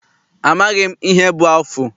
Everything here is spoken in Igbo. Amaghị m ihe bụ afụ.